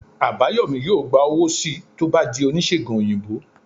Abayomi yọọ gba owo sii to o bà dí onisegùn oyinbo